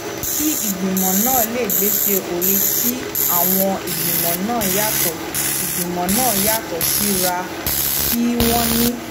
kí ìgbìmọ náà lè gbéṣé ó yẹ kí àwọn ìgbìmọ náà yàtò ìgbìmọ náà yàtò síra kí wón ní